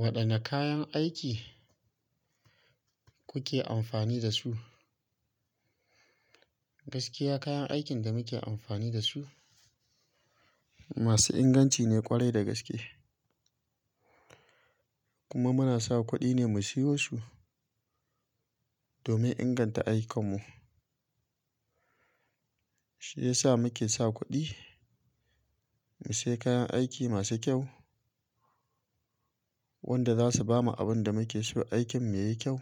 Waɗanne kayan aiki kuke amfani da su? Gaskiya kayan aikin da muke amfani da su, masu inganci ne ƙwarai da gaske. Kuma muna sa kuɗi ne mu siyo su, domin inganta aikin mu. Shi yasa muke sa kuɗi, mu sayi kayan aiki masu kyau, wanda zasu bamu abin da muke so aikin mu yayi kyau,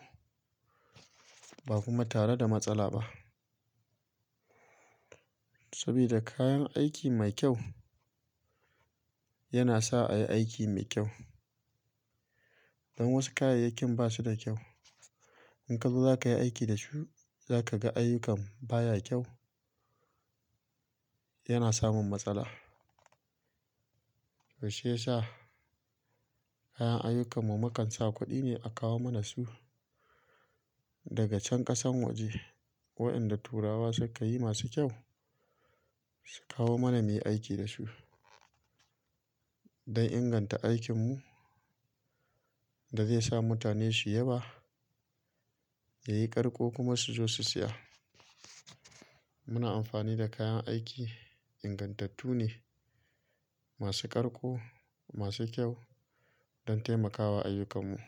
ba kuma tare da matsala ba. Saboda kayan aiki mai kyau, yana sa a yi aiki mai kyau. Dan wasu kayayyakin basu da kyau. In ka zo za ka yi aiki da su, za ka ga ayyukan baya kyau, yana samun matsala. To shi yasa kayan ayyukan mu makan sa kuɗi ne a kawo mana su, daga can ƙasan waje. Waɗanda turawa suka yi masu kyau, su kawo mana muyi aiki da su, don inganta aikin mu da zai sa mutane su yaba, yayi ƙarƙo kuma su zo su siya. Muna amfani da kayan aiki ingantattu ne, masu ƙarƙo, masu kyau don taimakawa ayyukan mu.